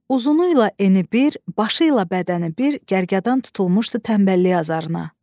Uzunu ilə eni bir, başı ilə bədəni bir gərgədan tutulmuşdu tənbəlliyi azarına.